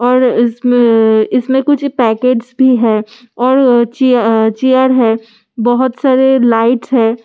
और इस्म इसमे कुछ पैकेटस भी है और चीय चीयर है बहुत सारे लाइटस है ।